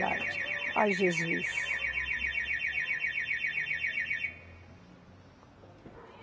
Ai, Jesus.